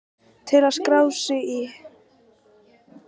Til að skrá sig í